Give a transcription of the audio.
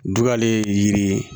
Dugalen ye yiri ye